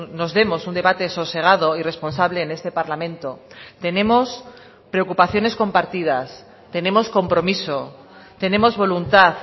nos demos un debate sosegado y responsable en este parlamento tenemos preocupaciones compartidas tenemos compromiso tenemos voluntad